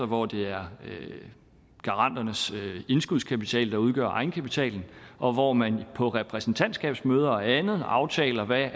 hvor det er garanternes indskudskapital der udgør egenkapitalen og hvor man på repræsentantskabsmøder og andet aftaler hvad